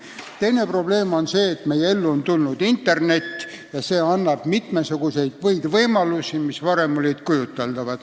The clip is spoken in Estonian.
Teine probleem on see, et meie ellu on tulnud internet ja see annab mitmesuguseid võimalusi, mis varem ei olnud kujuteldavad.